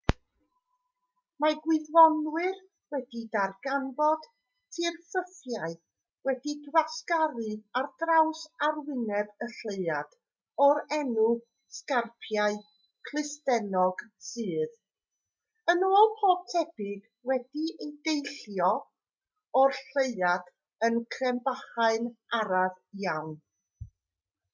mae gwyddonwyr wedi darganfod tirffurfiau wedi'u gwasgaru ar draws arwyneb y lleuad o'r enw sgarpiau clustennog sydd yn ôl pob tebyg wedi deillio o'r lleuad yn crebachu'n araf iawn